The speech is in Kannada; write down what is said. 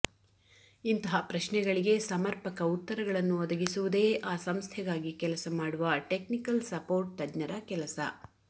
ಇಂತಹ ಪ್ರಶ್ನೆಗಳಿಗೆ ಸಮರ್ಪಕ ಉತ್ತರಗಳನ್ನು ಒದಗಿಸುವುದೇ ಆ ಸಂಸ್ಥೆಗಾಗಿ ಕೆಲಸಮಾಡುವ ಟೆಕ್ನಿಕಲ್ ಸಪೋರ್ಟ್ ತಜ್ಞರ ಕೆಲಸ